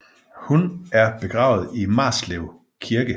Hun er begravet i Marslev Kirke